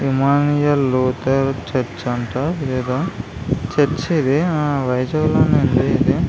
Immanuel Luther church అంట. ఇది ఏదో చర్చి . ఇది వైజాగ్ లోనే ఉంది.